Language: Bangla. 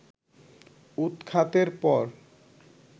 উৎখাতের পর